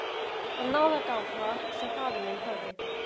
Þetta var náðargáfa sem faðir minn hafði.